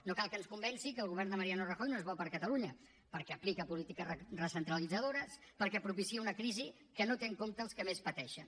no cal que ens convenci que el govern de mariano rajoy no és bo per a catalunya perquè aplica polítiques recentralitzadores perquè propicia una crisi que no té en compte els que més pateixen